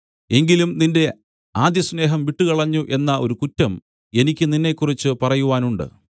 എങ്കിലും നിന്റെ ആദ്യസ്നേഹം വിട്ടുകളഞ്ഞു എന്ന ഒരു കുറ്റം എനിക്ക് നിന്നെക്കുറിച്ച് പറയുവാനുണ്ട്